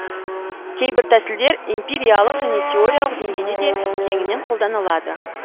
кейбір тәсілдер эмпириялық және теориялық деңгейде де кеңінен қолданылады